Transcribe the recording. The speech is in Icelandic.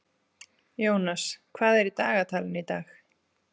Jónas, hvað er í dagatalinu í dag?